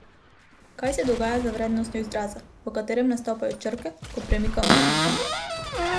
Kaj se dogaja z vrednostjo izraza, v katerem nastopajo črke, ko premikamo piki?